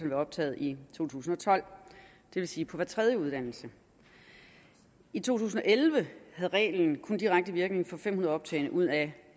ved optaget i to tusind og tolv det vil sige på hver tredje uddannelse i to tusind og elleve havde reglen kun direkte virkning for fem hundrede optagne ud af